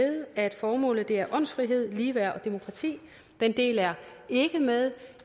at formålet er åndsfrihed ligeværd og demokrati den del er ikke med